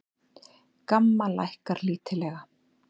GAMMA lækkar lítillega